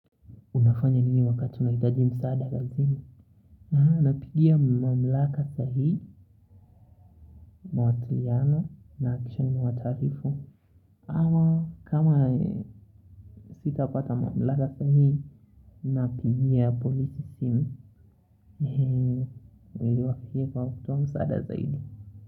Unafanya nini wakati unahitaji msaada lakini? Napigia mamlaka sahihi, mawasiliano na kisha nimewataarifu. Ama kama sitapata mamlaka sahihi, napigia polisi simu. Welewakie pa ufutuwa msaada sahidi.